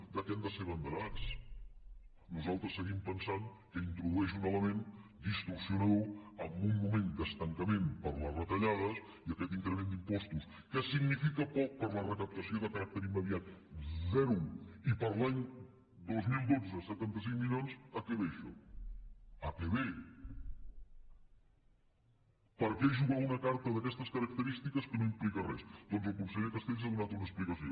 de què hem de ser abanderats nosaltres seguim pensant que introdueix un element distorsionador en un moment d’estancament per les retallades i aquest increment d’impostos que significa poc per a la recaptació de caràcter immediat zero i per a l’any dos mil dotze setanta cinc milions a què ve això a què ve per què jugar una carta d’aquestes característiques que no implica res doncs el conseller castells n’ha donat una explicació